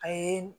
A ye